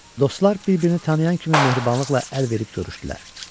Dostlar bir-birini tanıyan kimi mehribanlıqla əl verib görüşdülər.